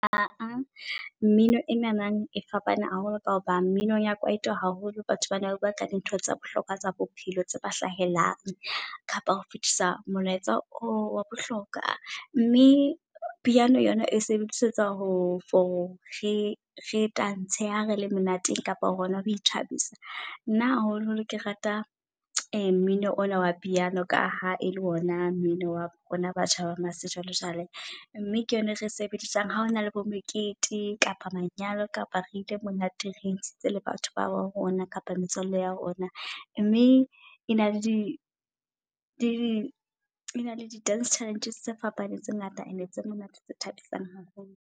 Mmino o nanang e fapane haholo ka hobane mmino ya kwaito haholo batho bana ba bua ka dintho tsa bohlokwa tsa bophelo tse ba hlahelang. Kapa ho fitisa molaetsa wa bohlokwa mme piano yona e sebedisetsa ho for re re tantshe ha re le monateng kapa hona ho ithabisa. Nna haholo holo ke rata mmino ona wa piano ka ha e le ona mmino wa rona batjha wa sejwale jwale mme ke yona ere e sebedisang ha o na le bo mekete kapa manyalo kapa re ile monateng. Re ntshitse le batho babo rona kapa metswalle ya rona mme e na le e na le di-dance challenges tse fapaneng tse ngata and-e tse monate, tse thabisang haholo.